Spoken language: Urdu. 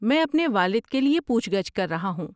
میں اپنے والد کے لیے پوچھ گچھ کر رہا ہوں۔